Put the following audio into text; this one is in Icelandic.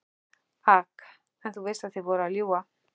AK: En þú veist að þið voruð að ljúga?